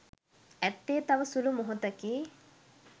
ඇත්තේ තව සුළු මොහොතකි